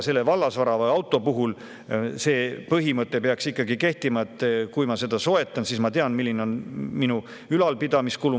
Vallasvara ehk auto puhul peaks kehtima põhimõte, et kui ma selle soetan, siis ma tean, milline on ülalpidamiskulu.